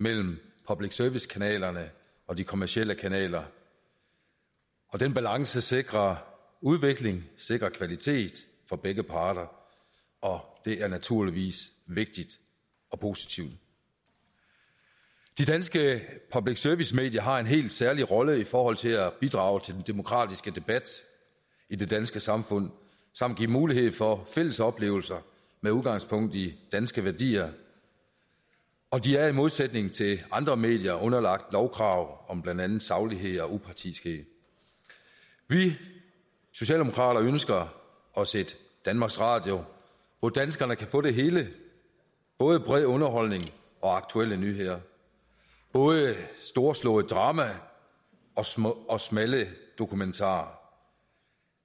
mellem public service kanalerne og de kommercielle kanaler den balance sikrer udvikling sikrer kvalitet for begge parter og det er naturligvis vigtigt og positivt de danske public service medier har en helt særlig rolle i forhold til at bidrage til den demokratiske debat i det danske samfund samt give mulighed for fælles oplevelser med udgangspunkt i danske værdier og de er i modsætning til andre medier underlagt lovkrav om blandt andet saglighed og upartiskhed vi socialdemokrater ønsker os et danmarks radio hvor danskerne kan få det hele både bred underholdning og aktuelle nyheder både storslået drama og smalle dokumentarer